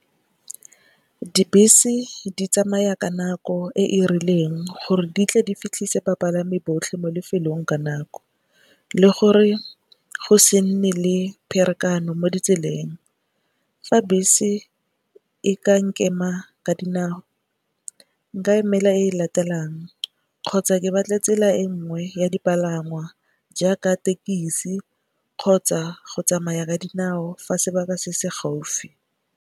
Dibese di tsamaya ka nako e e rileng gore di tle di fitlhise bapalami botlhe mo lefelong ka nako. Le gore go se nne le pherekano mo ditseleng. Fa bese e ka nkema ka dinao nka emela e latelang kgotsa ke batle tsela e nngwe ya dipalangwa jaaka tekisi kgotsa go tsamaya ka dinao fa sebaka se se gaufi.